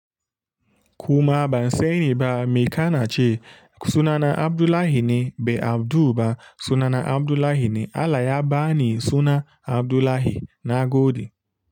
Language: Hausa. Kuma ban sani ba me kana ce sunana Abdullahi ne, be Abdu ba sunana Abdullahi ne. Allah yaba ni suna Abdullahi na godi.